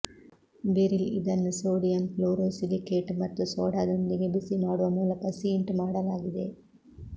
beryl ಇದನ್ನು sodium fluorosilicate ಮತ್ತು ಸೋಡಾದೊಂದಿಗೆ ಬಿಸಿಮಾಡುವ ಮೂಲಕ ಸೀಂಟ್ ಮಾಡಲಾಗಿದೆ